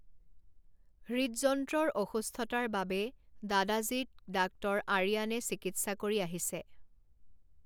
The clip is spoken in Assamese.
হৃদযন্ত্ৰৰ অসুস্থতাৰ বাবে দাদাজীক ডাঃ আৰিয়ানে চিকিৎসা কৰি আহিছে।